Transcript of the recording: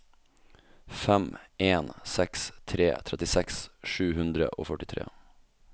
fem en seks tre trettiseks sju hundre og førtitre